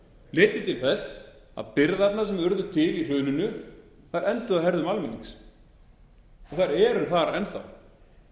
leiddi til þess að byrðarnar sem urðu til í hruninu enduðu á herðum almennings þær eru þar enn þá